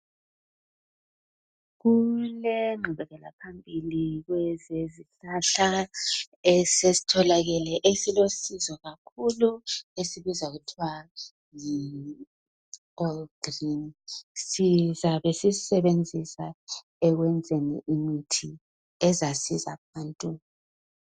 Kulengqubela phambili kwezezihlahla esesitholakele esilosizo kakhulu esibizwa kuthiwa yi ogrini, sizabe sisisebenzisa ekwenzeni imithi ezasiza abantu.